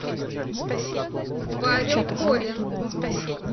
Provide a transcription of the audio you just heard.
павел холин